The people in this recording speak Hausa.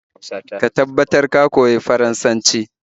Ka tabbatar ka koyi Faransanci